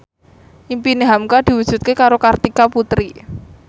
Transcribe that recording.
impine hamka diwujudke karo Kartika Putri